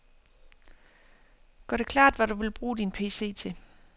Gør det klart, hvad du vil bruge din pc til.